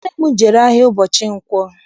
Nne m jere ahịa ụbọchị nkwo.